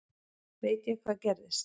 Veit ég hvað gerðist?